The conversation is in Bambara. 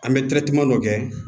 An bɛ dɔ kɛ